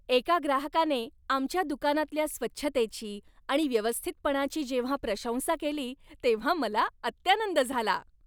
एका ग्राहकाने आमच्या दुकानातल्या स्वच्छतेची आणि व्यवस्थितपणाची जेव्हा प्रशंसा केली तेव्हा मला अत्यानंद झाला.